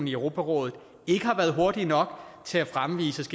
i europarådet ikke har været hurtig nok til at fremvise